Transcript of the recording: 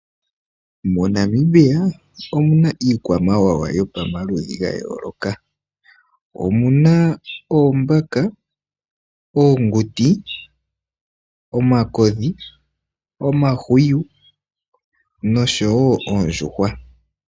MoNamibia omu na iikwamawawa yopamaludhi ga yooloka. Omu na oombaka, oonguti, omakodhi, omahwiyu nosho wo oondjuhwa.